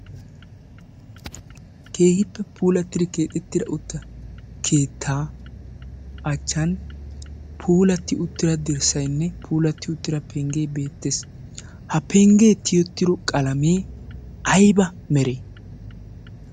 keehiippe puulattidi keexettida utta keettaa achchan polatti uttira dirssaynne puulatti uttira penggee beettees ha penggee tiyotiro qalamee ayba meree?